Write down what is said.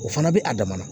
O fana bɛ a damana